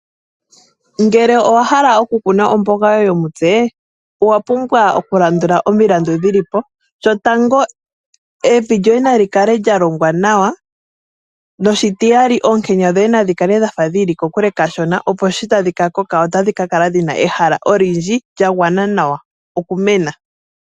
Ngele owa hala oku kuna omboga yoye yomutse, owa pumbwa oku landula omilandu dhili po. Shotango emvi lyoye nalyi kale lya longwa nawa, noshitiyali oonkenya dhoye nadhi kale dhafa dhili kokule kashona, opo shi tadhi ka koka otadhi ka kala dhina ehala olyindji lya gwana nawa oku mena.